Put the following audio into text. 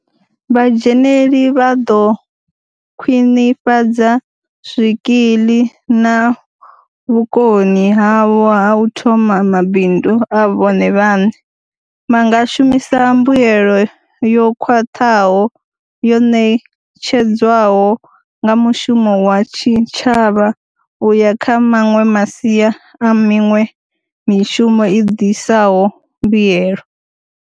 Vhadzheneli vha ḓo khwiṋifhadza zwikiḽi na vhukoni havho ha u thoma mabindu a vhone vhaṋe, vha nga shumisa mbuelo yo khwaṱhaho yo ṋetshedzwaho nga mushumo wa tshitshavha u ya kha maṅwe masia a miṅwe mi shumo i ḓisaho mbuelo.